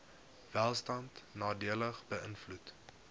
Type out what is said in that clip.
welstand nadelig beïnvloed